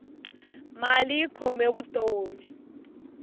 mali yi khome vutomi